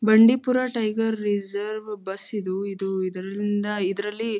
Bandipur tiger reserve bus ಇದು ಇದು ಇದರಲ್ಲಿ --